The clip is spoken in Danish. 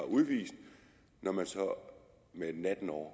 udvist når der så natten over